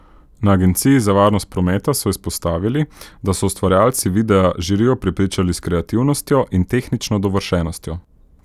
Na agenciji za varnost prometa so izpostavili, da so ustvarjalci videa žirijo prepričali s kreativnostjo in tehnično dovršenostjo.